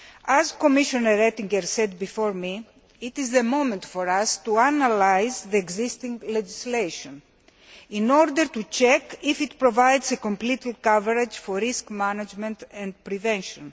As Commissioner Oettinger said before me, it is a moment for us to analyse existing legislation, in order to check if it provides complete coverage for risk management and prevention.